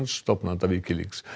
stofnanda Wikileaks